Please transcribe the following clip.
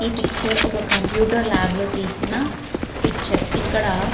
ఈ పిక్చర్ ఒక computer lab లో తీసిన పిక్చర్ ఇక్కడ --